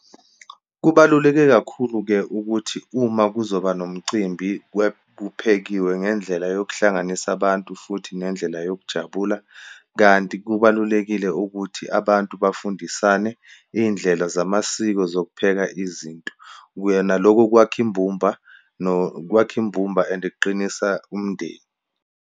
Kubaluleke kakhulu-ke ukuthi uma kuzoba nomcimbi kuphekiwe ngendlela yokuhlanganisa abantu futhi nendlela yokujabula, kanti kubalulekile ukuthi abantu bafundisane iyindlela zamasiko zokupheka izinto. Yena lokho kwakha imbumba kwakha imbumba and kuqinisa umndeni.